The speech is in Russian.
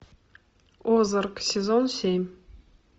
озарк сезон семь